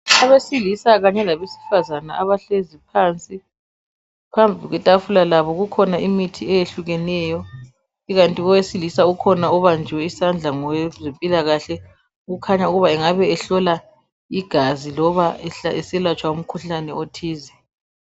Abesilisa kanye labesifazane abahlezi phansi .Phambi kwetafula labo kukhona imithi eyehlukeneyo ikanti owesilisa kukhona obanjwe isandla ngowezempilakahle Kukhanya angabe ehlola igazi loba eselatshwa umkhuhlane othize